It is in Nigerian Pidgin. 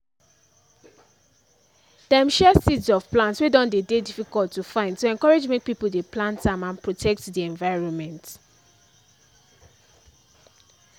dem share seeds of plants wey don dey dey difficult to find to encourage make people dey plant am and protect the environment